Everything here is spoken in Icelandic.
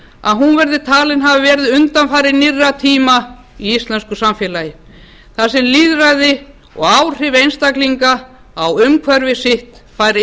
að hún verði talin hafa verið undanfari nýrra tíma í íslensku samfélagi þar sem lýðræði og áhrif einstaklinga á umhverfi sitt fær